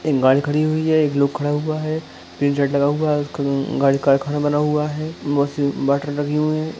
एक गाड़ी खड़ी हुई है एक लोग खड़ा हुआ है तीन साइड लगा हुआ हैं उसका गाड़ी कारखाना बना हुआ है बहुत सी बैटरी लगी हुई हैं ।